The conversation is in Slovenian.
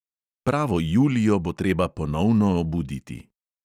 Pravo julijo bo treba ponovno obuditi.